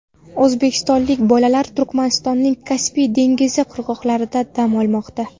O‘zbekistonlik bolalar Turkmanistonda Kaspiy dengizi qirg‘oqlarida dam olmoqda.